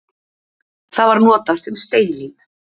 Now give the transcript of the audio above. Það var notað sem steinlím.